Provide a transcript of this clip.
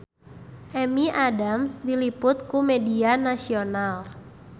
Amy Adams diliput ku media nasional